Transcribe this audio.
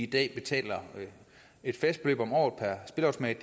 i dag betaler et fast beløb om året per spilleautomat